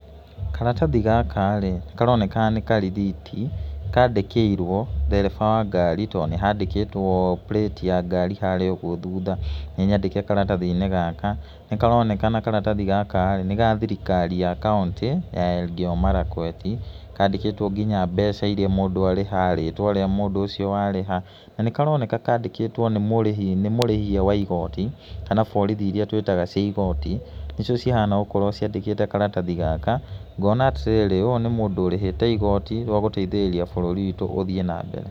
Karatathi gaka rĩ, karonekana nĩ karithiti kandĩkĩirwo ndereba wa ngari tondũ nĩ handĩkĩtwo plate ya ngari harĩa ũguo thutha, nĩ nyandĩke karatathi-inĩ gaka, nĩ karonekana karatathi gaka rĩ, nĩ ga thirikari ya kaũntĩ ya Elgeyo Marakwet, kandĩkĩtwo nginya mbeca iria mũndũ ariharĩ, rĩtwa rĩa mũndũ ũcio warĩha, na nĩ karonekana kandĩkĩtwo nĩ mũrĩhi, mũrĩhia wa igoti kana borithi iria twĩtaga cia igooti, nĩcio cihana gũkorwo ciandĩkĩte karatathi gaka. Ngona atĩrĩrĩ ũyũ nĩ mũndũ ũrĩhĩte igooti rĩa gũteithĩrĩria bũrũri witũ ũthiĩ na mbere.